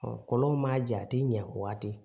kɔlɔnw ma jate a ti ɲɛ o waati